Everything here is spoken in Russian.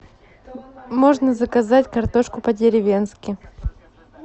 можно заказать картошку по деревенски